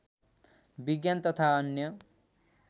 विज्ञान तथा अन्य